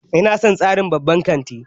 Ina son tsarin babban kanti